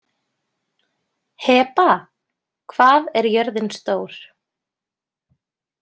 Heba, hvað er jörðin stór?